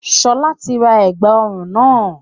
Sọlá tí ra ẹ̀gbà ọrùn náà